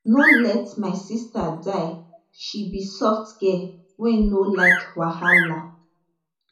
no let my sista die she be soft girl wey no like wahala